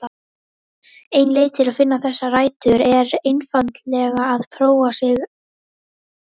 Ein leið til að finna þessar rætur er einfaldlega að prófa sig áfram.